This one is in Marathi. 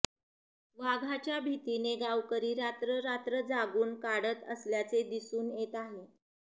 वाघाच्या भीतीने गावकरी रात्र रात्र जागून काढत असल्याचे दिसून येत आहे